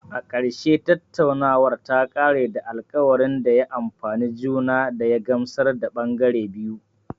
A ƙarshe, tattaunawar ta ƙare da alkawarin da ya amfane juna da ya gamsar da ɓangare biyu